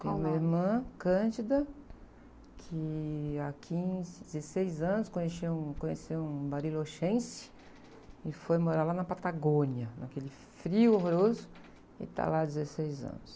Tenho uma irmã, que há quinze, dezesseis anos conheceu um barilochense e foi morar lá na Patagônia, naquele frio horroroso, e está lá há dezesseis anos.